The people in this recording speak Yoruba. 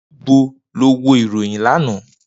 Nibo lo wo iroyin lana?